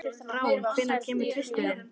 Rán, hvenær kemur tvisturinn?